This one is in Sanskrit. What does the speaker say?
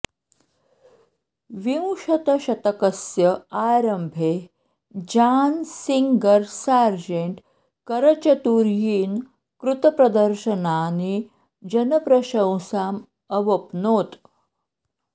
विंशतशतकस्य आरम्भे जान् सिंगर् सार्जेण्ट् करचतुर्यिन कृतप्रदर्शनानि जनप्रशंसाम् अवप्नोत्